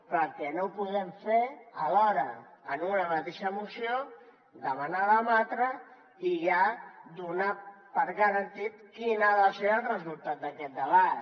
però el que no podem fer alhora en una mateixa moció demanar debatre i ja donar per garantit quin ha de ser el resultat d’aquest debat